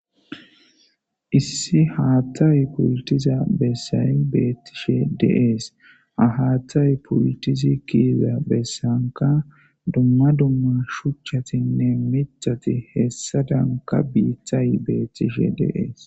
issi haattay pultiza bessay beettishe de'ees haattay pultizi kiiza bessanka dumma dumma shuchchatinne mitati hessadanka biithay beettishe deees